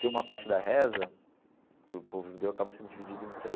Tem uma parte da reza, que o povo judeu acaba sendo dividido em três,